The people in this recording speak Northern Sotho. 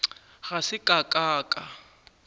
ga se ka ka ka